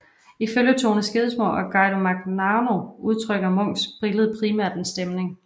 Ifølge Tone Skedsmo og Guido Magnaguagno udtrykker Munchs billede primært en stemning